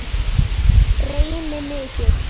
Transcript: Reyni mikið.